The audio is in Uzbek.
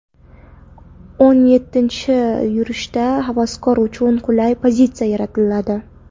O‘n yettinchi yurishda havaskorlar uchun qulay pozitsiya yaratiladi.